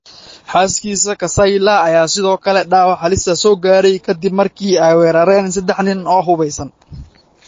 Xaaskiisa Kausalya ayaa sidoo kale dhaawac halis ah soo gaaray ka dib markii ay weerareen saddex nin oo hubeysan.